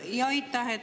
Aitäh!